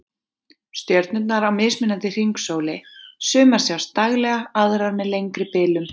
Stjörnurnar á mismunandi hringsóli, sumar sjást daglega, aðrar með lengri bilum